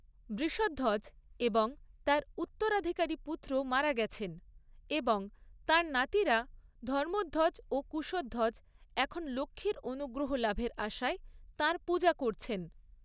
বৃষধ্বজ এবং তাঁর উত্তরাধিকারী পুত্রও মারা গেছেন এবং তাঁর নাতিরা, ধর্মধ্বজ ও কুশধ্বজ এখন লক্ষ্মীর অনুগ্রহ লাভের আশায় তাঁর পূজা করছেন।